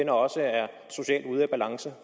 også er socialt ude af balance